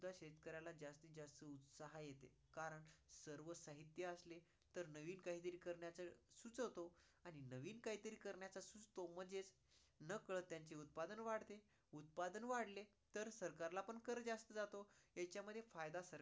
कारण सर्व साहित्य असले तर नवीन काही तर करण्याचे सुचतो आणि नवीन काही तर करण्याचे सुचतो म्हणजेच नकळत त्यांचे उत्पादन वाढते, उत्पादन वाढतले तर सरकार ला पण कर जास्त जातो ह्यांच्यामध्ये फायदा